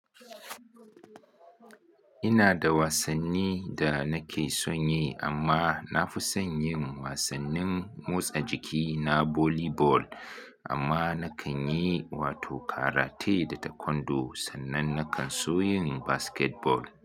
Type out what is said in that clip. Ina da wasanni da nake son yi amma na fi son yin wasannin motsa jiki na volley ball amma na kan yi wato karate da taekwondo sannan na kan so yin basketball.